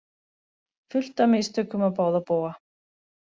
Fullt af mistökum á báða bóga